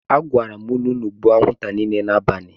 Asim unu ka unu gbuo anwunta nile n'abali.